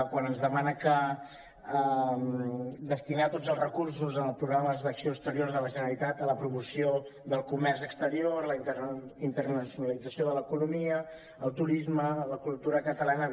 quan ens demana destinar tots els recursos en els programes d’acció exterior de la generalitat a la promoció del comerç exterior la internacionalització de l’economia el turisme la cultura catalana